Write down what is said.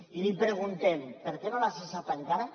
i li preguntem per què no l’ha cessat encara